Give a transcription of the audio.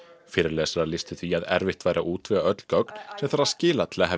fyrirlesarar lýstu því að erfitt væri að útvega öll gögn sem þarf að skila til að hefja